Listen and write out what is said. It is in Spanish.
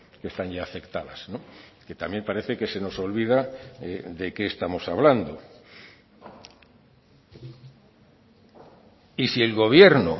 que están ya afectadas que también parece que se nos olvida de qué estamos hablando y si el gobierno